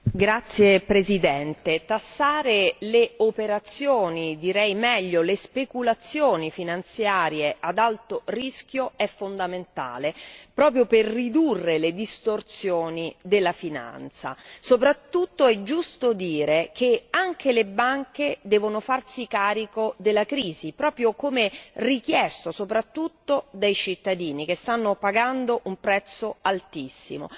Signor Presidente, onorevoli colleghi, tassare le operazioni direi meglio le speculazioni finanziarie ad alto rischio è fondamentale proprio per ridurre le distorsioni della finanza. Soprattutto è giusto dire che anche le banche devono farsi carico della crisi, proprio come richiesto soprattutto dai cittadini che stanno pagando un prezzo altissimo.